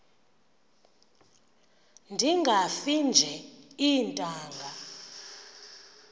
ndingafi nje iintanga